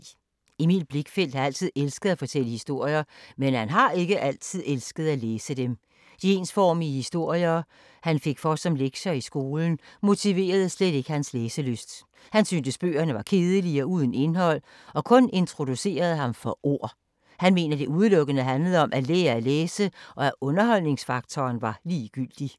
Emil Blichfeldt har altid elsket at fortælle historier, men har ikke altid elsket at læse dem. De ensformige historier han fik for som lektier i skolen, motiverede slet ikke hans læselyst. Han syntes, at bøgerne var kedelige og uden indhold og kun introducerede ham for ord. Han mener, at det udelukkende handlede om, at lære at læse og at underholdningsfaktoren var ligegyldig.